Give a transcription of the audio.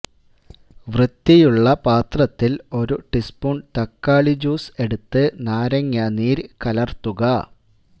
വൃത്തിയുള്ള പാത്രത്തില് ഒരു ടീസ്പൂണ് തക്കാളി ജ്യൂസ് എടുത്ത് നാരങ്ങാ നീര് കലര്ത്തുക